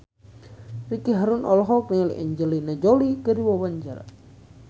Ricky Harun olohok ningali Angelina Jolie keur diwawancara